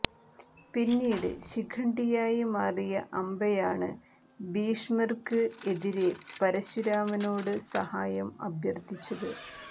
പിന്നീട് ശിഖണ്ഡിയായി മാറിയ അംബയാണ് ഭീഷ്മര്ക്ക് എതിരെ പരശുരാമനോട് സഹായം അഭ്യര്ത്ഥിച്ചത്